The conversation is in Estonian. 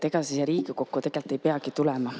Ega siia Riigikokku tegelikult ei peagi tulema.